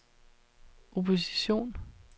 opposition